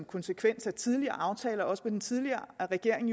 konsekvens af tidligere aftaler også med den tidligere regering